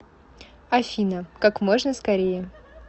афина как можно скорее